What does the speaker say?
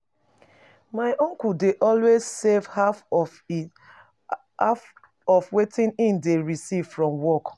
My uncle dey always save half of of wetin he dey receive from work